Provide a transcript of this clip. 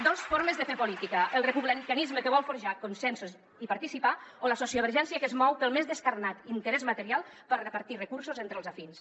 dos formes de fer política el republicanisme que vol forjar consensos i participar o la sociovergència que es mou pel més descarnat interès material per repartir recursos entre els afins